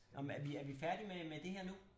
Nå men er vi er vi færdige med med det her nu?